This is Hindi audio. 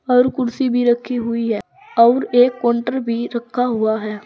और कुर्सी भी रखी हुई है और एक काउंटर भी रखा हुआ है।